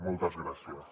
moltes gràcies